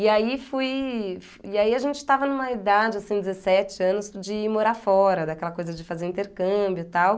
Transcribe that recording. E aí fui e aí a gente estava numa idade, assim, dezessete anos, de ir morar fora, daquela coisa de fazer o intercâmbio, tal.